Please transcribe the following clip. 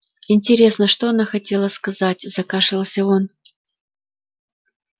интересно что она хотела сказать закашлялся он